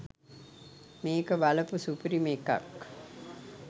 මේක බලපු සුපිරිම එකක්.